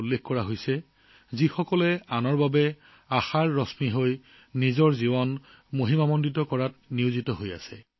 ইয়াত বহু দেশবাসীৰ কথা আছে যিসকলে আনৰ বাবে আশাৰ ৰেঙণি হৈ নিজৰ জীৱন উন্নত কৰাৰ কামত জড়িত হৈ আছে